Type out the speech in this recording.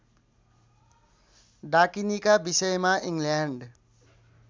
डाकिनीका विषयमा इङ्ल्यान्ड